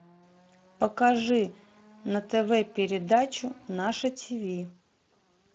покажи на тв передачу наше тв